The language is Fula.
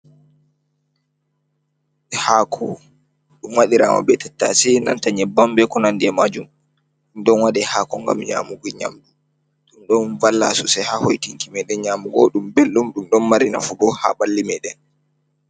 Haako, ɗum waɗiraama bee tattataase, nanta nyebbam bee ko nandi e maajum. Ɗum ɗon waɗaa haako ngam nyaamugo nyamdu, ɗom valla soosai ha hoitinki meeɗen nyamu bobɗum belɗum, ɗum ɗon mari nafu bo haa ɓalli meeɗen.